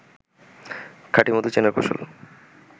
খাঁটি মধু চেনার কৌশল